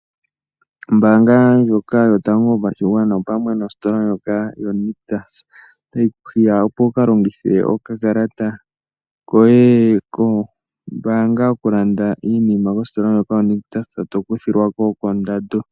Ombaanga yotango yopashigwana pamwe nositola yoNictus otayi kuhiya wukalande iinima kositola ndjoka ngoye tokuthilwako kondando.